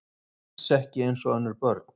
Alls ekki eins og önnur börn.